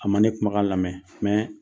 A ma ne kumakan lamɛn mais